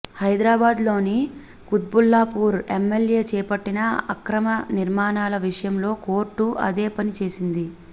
హైదరాబాద్ లోని Qutbullapur MLA చేపట్టిన అక్రమ నిర్మాణాల విషయంలో కోర్టు అదే పని చేసింది